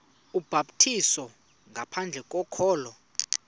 ubhaptizo ngaphandle kokholo